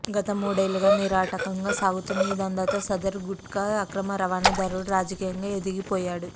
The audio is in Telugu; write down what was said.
గత మూడేళ్లుగా నిరాటంకంగా సాగుతున్న ఈ దందాతో సదరు గుట్కా అక్రమ రవాణాదారుడు రాజకీయంగా ఎదిగిపోయాడు